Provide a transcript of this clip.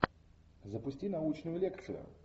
запусти научную лекцию